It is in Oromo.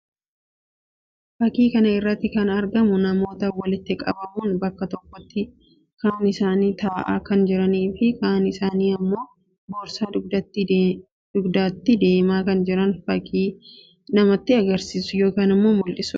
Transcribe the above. Fakkii kana irratti kan argamu namoota walitti qabamuun bakka tokkotti kaan isaanii ta'aa kan jiranii fi kaan isaanii immoo boorsaa dugdatti deemaa kan jiran fakkii namatti agarsiisu yookiin immoo mul'isuu dha.